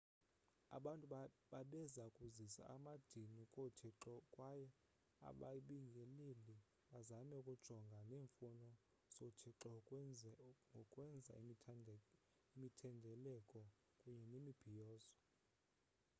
abantu babeza kuzisa amadini koothixo kwaye ababingeleli bazame ukujongana neemfuno zoothixo ngokwenza imithendeleko kunye nemibhiyozo